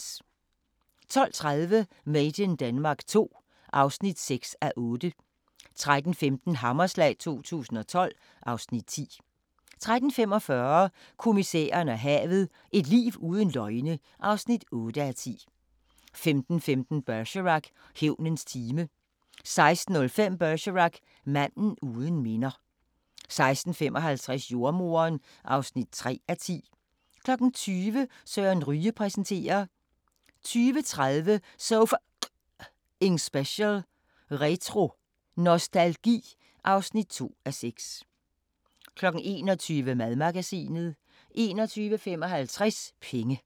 12:30: Made in Denmark II (6:8) 13:15: Hammerslag 2012 (Afs. 10) 13:45: Kommissæren og havet: Et liv uden løgne (8:10) 15:15: Bergerac: Hævnens time 16:05: Bergerac: Manden uden minder 16:55: Jordemoderen (3:10) 20:00: Søren Ryge præsenterer 20:30: So F***ing Special: Retro nostalgi (2:6) 21:00: Madmagasinet 21:55: Penge